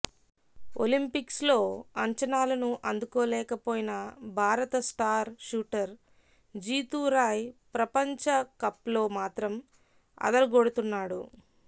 ఒలింపిక్స్లో అంచనాలను అందుకోలేకపోయిన భారత స్టార్ షూటర్ జీతూరాయ్ ప్రపంచకప్లో మాత్రం అదరగొడుతున్నాడు